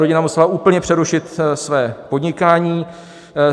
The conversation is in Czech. Rodina musela úplně přerušit své podnikání.